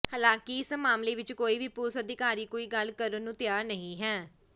ਹਾਲਾਂਕਿ ਇਸ ਮਾਮਲੇ ਵਿੱਚ ਕੋਈ ਵੀ ਪੁਲਸ ਅਧਿਕਾਰੀ ਕੋਈ ਗੱਲ ਕਰਨ ਨੂੰ ਤਿਆਰ ਨਹੀਂ ਹੈ